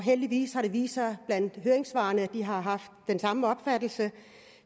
heldigvis har det vist sig at man i høringssvarene har haft den samme opfattelse